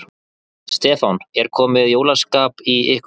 Stefán: Er komið jólaskap í ykkur?